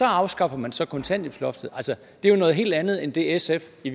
afskaffer man så kontanthjælpsloftet det er jo noget helt andet end det sf i